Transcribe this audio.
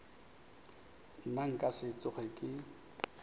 nna nka se tsoge ke